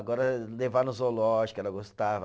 Agora levar no zoológico, ela gostava.